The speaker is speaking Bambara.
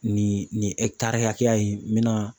Nin nin hakɛya in n bɛna